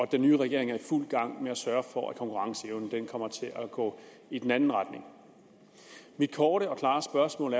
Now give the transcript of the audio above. den nye regering er i fuld gang med at sørge for at konkurrenceevnen kommer til at gå i den anden retning mit korte og klare spørgsmål